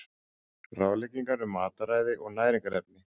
Ráðleggingar um mataræði og næringarefni.